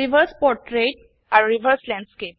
reverse portrait আৰু reverse landscape